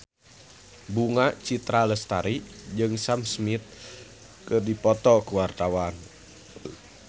Bunga Citra Lestari jeung Sam Smith keur dipoto ku wartawan